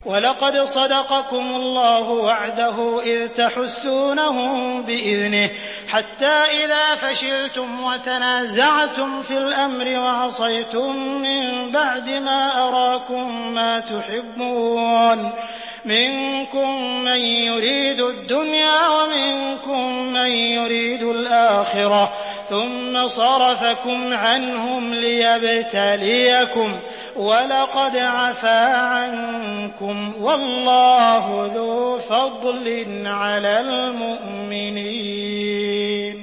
وَلَقَدْ صَدَقَكُمُ اللَّهُ وَعْدَهُ إِذْ تَحُسُّونَهُم بِإِذْنِهِ ۖ حَتَّىٰ إِذَا فَشِلْتُمْ وَتَنَازَعْتُمْ فِي الْأَمْرِ وَعَصَيْتُم مِّن بَعْدِ مَا أَرَاكُم مَّا تُحِبُّونَ ۚ مِنكُم مَّن يُرِيدُ الدُّنْيَا وَمِنكُم مَّن يُرِيدُ الْآخِرَةَ ۚ ثُمَّ صَرَفَكُمْ عَنْهُمْ لِيَبْتَلِيَكُمْ ۖ وَلَقَدْ عَفَا عَنكُمْ ۗ وَاللَّهُ ذُو فَضْلٍ عَلَى الْمُؤْمِنِينَ